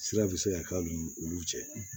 Sira bɛ se ka k'a ni olu cɛ